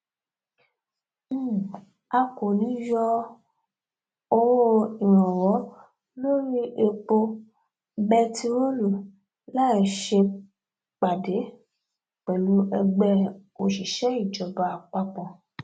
um a kò ní í yọ owó um ìrànwọ lórí epo bẹntiróòlù láì ṣèpàdé pẹlú ẹgbẹ òṣìṣẹìjọba àpapọ